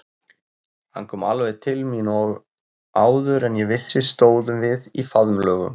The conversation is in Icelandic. Hann kom alveg til mín og áður en ég vissi stóðum við í faðmlögum.